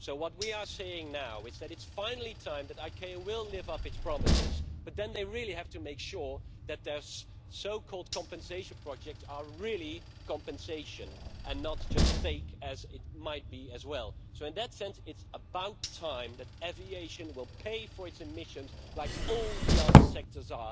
What we are seeing now is that it is finally time for ICAO to live up to its promises, but then they really have to make sure that their so called compensation projects are really compensation and not just fake, as the case could be. In that sense, it is about time for aviation to pay for its emissions like all the other sectors.